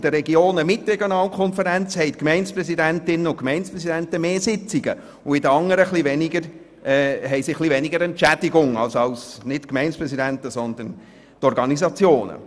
In Regionen mit Regionalkonferenz haben die Gemeindepräsidentinnen und Gemeindepräsidenten mehr Sitzungen, und in den anderen erhalten die Organisationen etwas weniger hohe Entschädigungen.